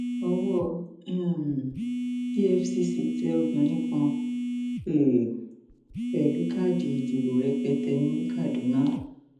ọwọ um efcc tẹ obìnrin kan um pẹlú káàdì ìdìbò rẹpẹtẹ ní kaduna